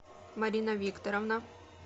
марина викторовна